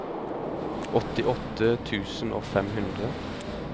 åttiåtte tusen og fem hundre